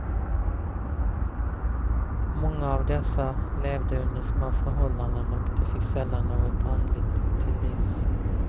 Många av dessa levde under små förhållanden och de fick sällan något andligt till livs.